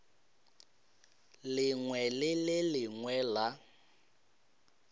lengwe le le lengwe la